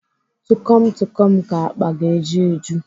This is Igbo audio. Tukom Tukom ka akpa ga-eji eju.